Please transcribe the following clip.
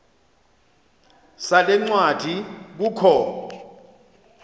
sale ncwadi kukho